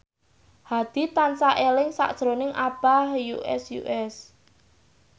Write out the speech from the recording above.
Hadi tansah eling sakjroning Abah Us Us